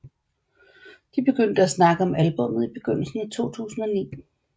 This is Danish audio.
De begyndte at snakke om albummet i begyndelsen af 2009